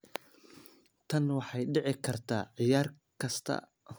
“Tani waxay dhici kartaa ciyaar kasta.